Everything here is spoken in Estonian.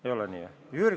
Ei ole nii või?